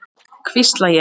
hvísla ég.